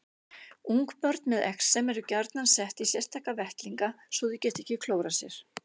Ungbörn með exem eru gjarnan sett í sérstaka vettlinga svo þau geti ekki klórað sér.